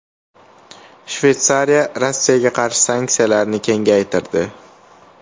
Shveysariya Rossiyaga qarshi sanksiyalarni kengaytirdi.